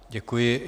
Děkuji.